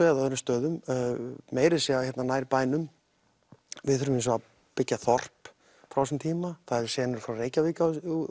eða öðrum stöðum meira að segja hérna nær bænum við þurfum hins vegar að byggja þorp frá þessum tíma það eru senur frá Reykjavík